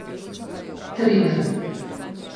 Triler.